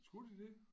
Skulle de det?